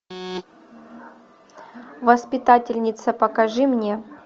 воспитательница покажи мне